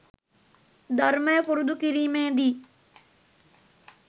ධර්මය පුරුදු කිරීමේදී